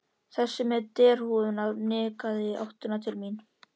Þessi með derhúfuna nikkaði í áttina til mín.